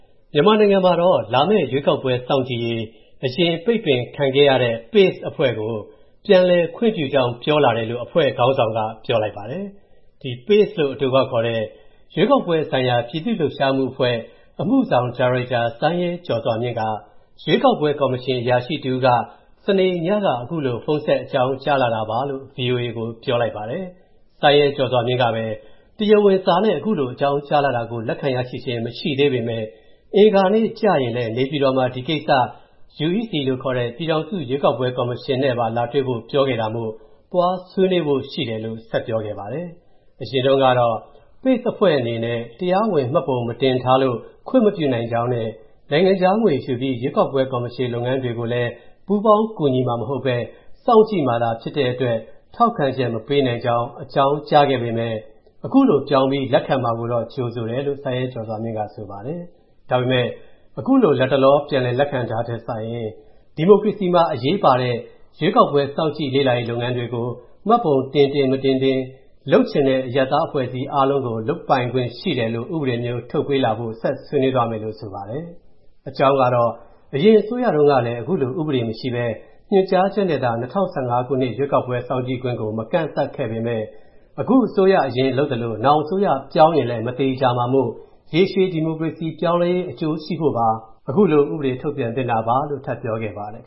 မြန်မာနိုင်ငံမှာ လာမယ့်ရွေးကောက်ပွဲ စောင့်ကြည့်ရေး အရင် ပိတ်ပင်ခံခဲ့ရတဲ့ PACE အဖွဲ့ကို ပြန်လည်ခွင့်ပြုလိုက်ကြောင်း ပြောလာတယ်လို့ အဖွဲ့ခေါင်းဆောင်က ပြောလိုက်ပါတယ်။ ဒီ PACE လို့ အတိုကောက်ခေါ်တဲ့ ရွေးကောက်ပွဲဆိုင်ရာ ပြည်သူ့လှုပ်ရှားမှုအဖွဲ့ အမှုဆောင်ဒါရိုက်တာ စိုင်းရဲကျော်စွာမြင့်က ရွေးကောက်ပွဲကော်မရှင် အရာရှိတဦးက စနေ့ညမှာ အခုလို ဖုန်းဆက် အကြောင်းကြားလာတာလို့ ဗွီအိုအေကို ပြောပါတယ်။ စိုင်းရဲကျော်စွာမြင့်ကပဲ တရားဝင် စာနဲ့ ခုလို အကြောင်းကြားလာတာကို လက်ခံရရှိခြင်း မရှိသေးပေမယ့် အင်္ဂါနေ့ကျရင် နေပြည်တော်မှာ ဒီကိစ္စကို UEC လို့ခေါ်တဲ့ ပြည်ထောင်စုရွေးကောက်ပွဲ ကော်မရှင်နဲ့ လာတွေ့ဖို့ပါ ပြောခဲ့တာမို့ သွားဆွေးနွေးဖို့ ရှိတယ်လို့ ဆက်ပြောပါတယ်။ အရင်တုန်းကတော့ PACE အဖွဲ့အနေနဲ့ တရားဝင် မှတ်ပုံမတင်ထားလို့ ခွင့်မပြုနိုင်ကြောင်းနဲ့ နိုင်ငံခြားငွေယူပြီး ရွေးကောက်ပွဲကော်မရှင် လုပ်ငန်းတွေကိုလည်း ပူးပေါင်းကူညီမှာမဟုတ်ဘဲ စောင့်ကြည့်မှာသာ ဖြစ်တဲ့အတွက် ထောက်ခံချက်မပေးနိုင်ကြောင်း အကြောင်းကြားခဲ့ပေမယ့် ခုလိုပြောင်းပြီး လက်ခံမှာကိုတော့ ကြိုဆိုတယ်လို့ စိုင်းရဲကျော်စွာမြင့်က ဆိုပါတယ်။ ဒါပေမယ့် ခုလို လတ်တလော ပြန်လက်ခံတာထက်စာရင် ဒီမိုကရေစီမှာ အရေးပါတဲ့ ရွေးကောက်ပွဲ စောင့်ကြည့်လေ့လာရေး လုပ်ငန်းတွေကို မှတ်ပုံတင်တင် မတင်တင် လုပ်ချင်တဲ့ အရပ်သားအဖွဲ့တွေအားလုံး လုပ်ကိုင်ခွင့်ရှိတယ်လို့ ဥပဒေထုတ်တာမျိုး ရှိလာဖို့ ဆက်ဆွေးနွေးသွားမယ်လို့ ဆိုပါတယ်။ အကြောင်းကတော့ အရင်အစိုးရတုန်းကလည်း ခုလို ဥပဒေမရှိဘဲ ညွှန်ကြားချက်နဲ့သာ ၂၀၁၅ ခုနှစ် ရွေးကောက်ပွဲစောင့်ကြည့်ခွင့်ကို မကန့်သတ်ခဲ့ပေမယ့် အခုအစိုးရ အရင်လုပ်သလို နောင်အစိုးရပြောင်းရင်လည်း မသေချာမှာမို့ ရေရှည် ဒီမိုကရေစီပြောင်းလဲရေး အကျိုးရှိဖို့ပါ ခုလို ဥပဒေထုတ်ပြန်သင့်တာပါလို့ ထပ်ပြောခဲ့ပါတယ်